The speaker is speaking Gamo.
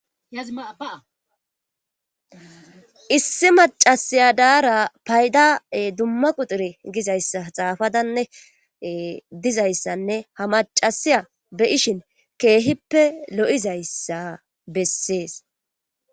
Issi macasiya daara payda dumma quxure gizayssa xaafadanne dizayssanne ha macasiya beyishin keehippe lo7izayssa bessees